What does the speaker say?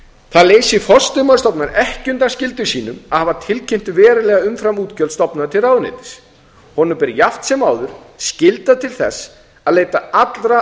það leysir forstöðumann stofnunar ekki undan skyldum sínum að hafa tilkynnt verulega umframútgjöld stofnunar til ráðuneytis honum ber jafnt sem áður skylda til þess að leita allra